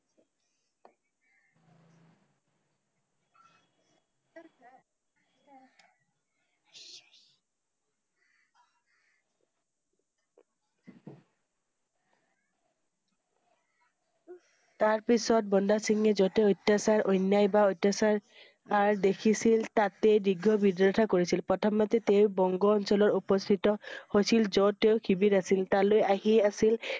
তাৰ পিছৰ বন্দা সিংহে জতে অত্যাচাৰ অন্যায় বা অত্যাচাৰ~আৰ দেখিছিল তাতেই তীব্ৰ বিৰোধিতা কৰিছিল। প্ৰথমতে তেওঁ বংগ অঞ্চলৰ উপস্থিত হৈছিল যত তেওঁৰ শিবিৰ আছিল। তালৈ আহি আছিল